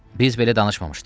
Biz belə danışmamışdıq.